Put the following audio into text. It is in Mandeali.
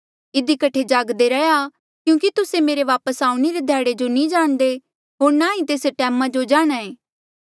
इधी कठे जागदे रहा क्यूंकि तुस्से मेरे वापस आऊणें रे ध्याड़े जो नी जाणदे होर ना ही तेस टैमा जो जाणहां ऐें